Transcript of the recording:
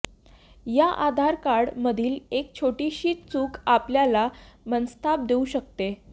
या आधार कार्ड मधील एक छोटीशी चूक आपल्याला मनस्ताप देऊ शकते